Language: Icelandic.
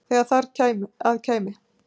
þegar þar að kæmi.